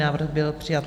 Návrh byl přijat.